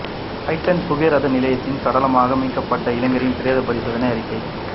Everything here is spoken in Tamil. ஹட்டன் புகையிரத நிலையத்தில் சடலமாக மீட்கப்பட்ட இளைஞனின் பிரேத பரிசோதனை அறிக்கை